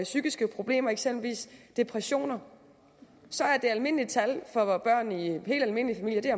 psykiske problemer eksempelvis depressioner så er det almindelige tal for børn i helt almindelige familier